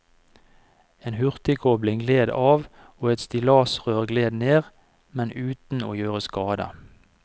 En hurtigkobling gled av og et stillasrør gled ned, men uten å gjøre skade.